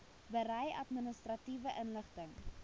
berei administratiewe inligting